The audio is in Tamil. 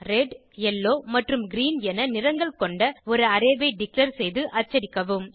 ரெட் யெல்லோ மற்றும் கிரீன் என நிறங்கள் கொண்ட ஒரு அரே ஐ டிக்ளேர் செய்து அச்சடிக்கவும்